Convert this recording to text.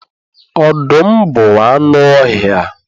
Ọdụm bụ anụ ọhịa